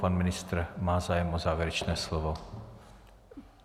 Pan ministr má zájem o závěrečné slovo.